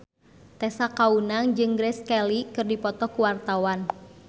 Tessa Kaunang jeung Grace Kelly keur dipoto ku wartawan